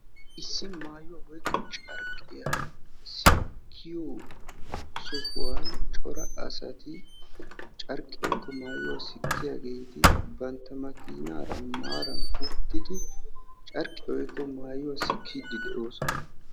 Issi maayuwa woyikko carqqiya sikkiyo sohuwan cora asati carqqiya woyikko maayuwa sikkiyaageti bantta makiinaara maaran uttidi carqqiya woyikko maayuwa sikkiiddi de'oosona.